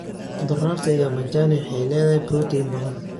Khudradda ya majani waxay leedahay borotiin badan.